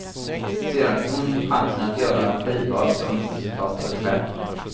Sedan fick hon chansen att göra en skiva som resultat av ett skämt.